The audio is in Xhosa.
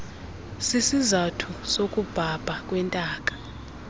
sisizathu sokubhabha kwentaka